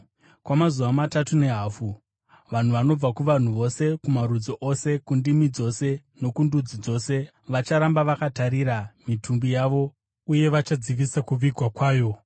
Kwamazuva matatu nehafu, vanhu vanobva kuvanhu vose, kumarudzi ose, kundimi dzose, nokundudzi dzose vacharamba vakatarira mitumbi yavo uye vachadzivisa kuvigwa kwayo.